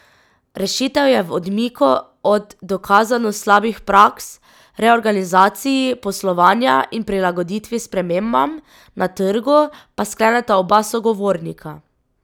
Rešitev je v odmiku od dokazano slabih praks, reorganizaciji poslovanja in prilagoditvi spremembam na trgu, pa skleneta oba sogovornika.